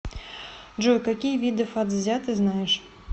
джой какие виды фацзя ты знаешь